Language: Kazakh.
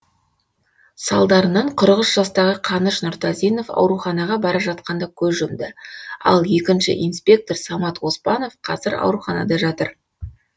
салдарынан қырық үш жастағы қаныш нұртазинов ауруханаға бара жатқанда көз жұмды ал екінші инспектор самат оспанов қазір ауруханада жатыр